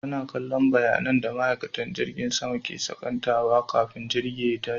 Tana kallon bayanan tsaro da maikatan jirgin sama ke sakantawa kafin jirgi ye tashi